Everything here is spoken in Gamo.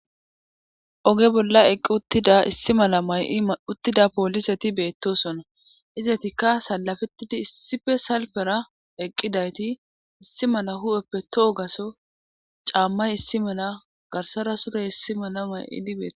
oge bolla eqqi uttida issi mala may7i uttida pooliseti beettosona izetikka salafettidi issife salpera eqqidayti issi mala hu7eppe tohogaso caammay issi mela garsara surey issi mala may7idi beett